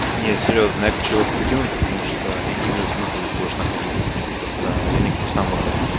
нет серьёзно я хочу вас покину потому что я не вижу смысла здесь больше находиться просто я не хочу сам выходить